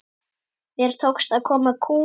Mér tókst að koma kúl